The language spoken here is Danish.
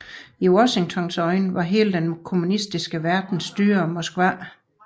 I Washingtons øjne var hele den kommunistiske verden styret af Moskva